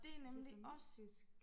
Vietnamesisk